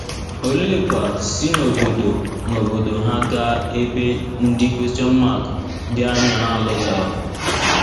Olekwa si n’obodo n’obodo ha gaa ebe ndị dị anya n’alọtaghị?